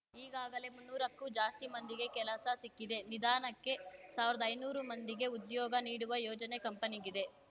ಈಗಾಗಲೇ ಮುನ್ನೂರಕ್ಕೂ ಜಾಸ್ತಿ ಮಂದಿಗೆ ಕೆಲಸ ಸಿಕ್ಕಿದೆ ನಿಧಾನಕ್ಕೆ ಸಾವ್ರುದೈನೂರು ಮಂದಿಗೆ ಉದ್ಯೋಗ ನೀಡುವ ಯೋಜನೆ ಕಂಪನಿಗಿದೆ